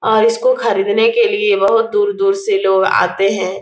और इसको खरीदने के लिए बहुत दूर-दूर से लोग आते हैं।